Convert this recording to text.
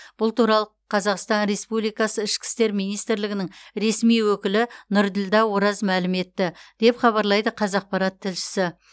бұл туралы қазақстан республикасы ішкі істер министрлігінің ресми өкілі нұрділдә ораз мәлім етті деп хабарлайды қазақпарат тілшісі